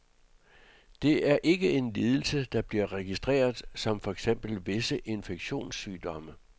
Det er ikke en lidelse, der bliver registreret som for eksempel visse infektionssygdomme.